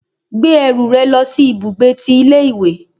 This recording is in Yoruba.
Gbé ẹrù rẹ lòsí ibùgbé tí ilé ìwé